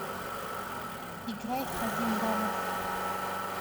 играй хадим дамов